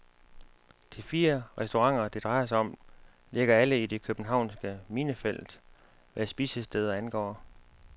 De fire restauranter, det drejer sig om, ligger alle i det københavnske minefelt, hvad spisesteder angår.